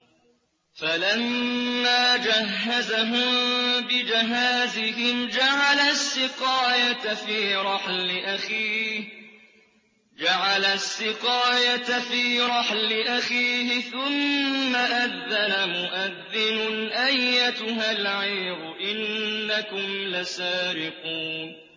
فَلَمَّا جَهَّزَهُم بِجَهَازِهِمْ جَعَلَ السِّقَايَةَ فِي رَحْلِ أَخِيهِ ثُمَّ أَذَّنَ مُؤَذِّنٌ أَيَّتُهَا الْعِيرُ إِنَّكُمْ لَسَارِقُونَ